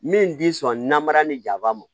Min ti sɔn namara ni jaba m